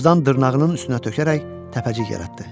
Tozdan dırnağının üstünə tökərək təpəcik yaratdı.